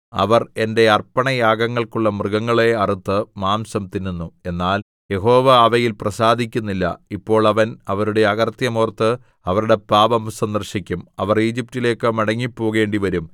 അവർ എന്റെ അർപ്പണയാഗങ്ങൾക്കുള്ള മൃഗങ്ങളെ അറുത്ത് മാംസം തിന്നുന്നു എന്നാൽ യഹോവ അവയിൽ പ്രസാദിക്കുന്നില്ല ഇപ്പോൾ അവൻ അവരുടെ അകൃത്യം ഓർത്ത് അവരുടെ പാപം സന്ദർശിക്കും അവർ ഈജിപ്റ്റിലേക്ക് മടങ്ങിപ്പോകേണ്ടിവരും